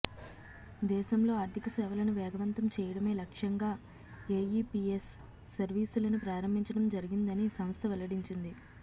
దేశంలో ఆర్థిక సేవలను వేగవంతం చేయడమే లక్ష్యంగా ఏఈపీఎస్ సర్వీసులను ప్రారంభించడం జరిగిందని సంస్థ వెల్లడించింది